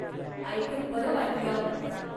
ऐकून बरं वाटलं.